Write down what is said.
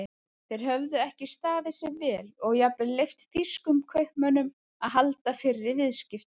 Þeir höfðu ekki staðið sig vel og jafnvel leyft þýskum kaupmönnum að halda fyrri viðskiptum.